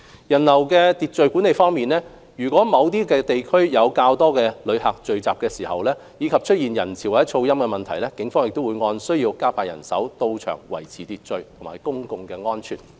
人流秩序管理方面，如某些地區有較多旅客聚集，以及出現人潮或噪音等問題，警方會按需要加派人員到場維持秩序及公共安全。